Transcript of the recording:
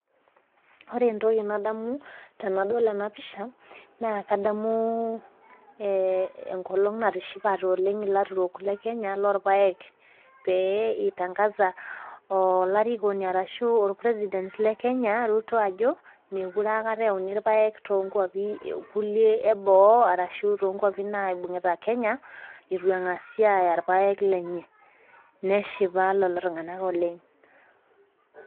Wore entoki nadamu tenadol ena pisha, naa kadamu enkolong' natishipate oleng' ilaturok le Kenya loorpaek, pee itangasa olarikoni ashu olpresident le Kenya Ruto ajo, mekure euni irpaek toonkuapi kulie eboo arashu toonkuapi naibungita Kenya itu engasi aaya irpaek lenye. Neshipa lelo tunganak oleng'.